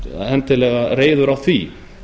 endilega reiður á því